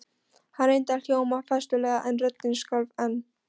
Hann reyndi að hljóma festulega en röddin skalf enn.